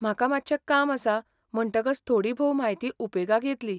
म्हाका मात्शें काम आसा म्हणटकच थोडीभोव म्हायती उपेगाक येतली.